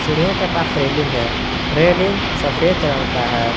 सीढ़ियां के पास रेलिंग है रेलिंग सफेद रंग का है।